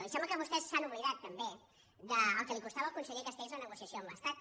i sembla que vostès s’han oblidat també del que li costava al conseller castells la negociació amb l’estat